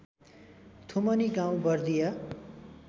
थुमनि गाउँ बर्दिया